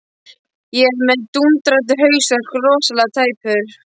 Ég er með dúndrandi hausverk, rosalega tæpur.